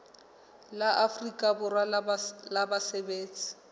la afrika borwa la basebetsi